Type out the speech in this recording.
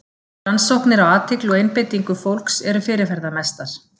Rannsóknir á athygli og einbeitingu fólks eru fyrirferðamestar.